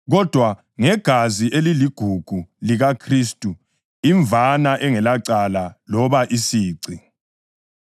kodwa ngegazi eliligugu likaKhristu imvana engelacala loba isici.